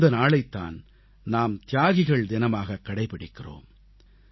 அந்த நாளைத் தான் நாம் தியாகிகள் தினமாகக் கடைபிடிக்கிறோம்